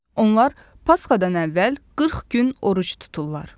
Onlar Pasxadan əvvəl 40 gün oruc tuturlar.